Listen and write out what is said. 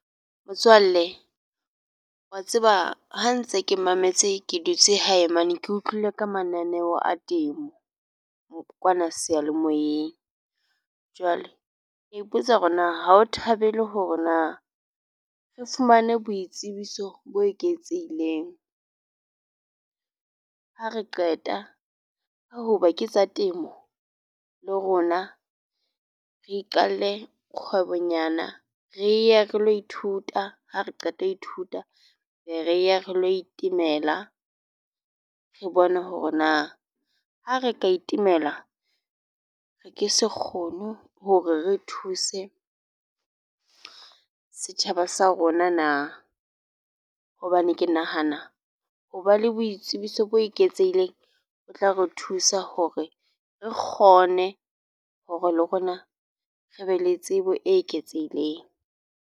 Motswalle wa tseba ha ntse ke mametse ke dutse hae mane, ke utlwile ka mananeo a temo kwana seyalemoyeng jwale a ipotsa hore na ha o thabele hore na ng re fumane boitsebiso bo eketsehileng. Ha re qeta ho hoba ke tsa temo, le rona re iqalle kgwebonyana re ye re lo ithuta ha re qeta ho ithuta be re ya re lo itemela, re bone hore na ha re ka itemela, re ke se kgono hore re thuse setjhaba sa rona na. Hobane ke nahana ho ba le boitsebiso bo eketsehileng.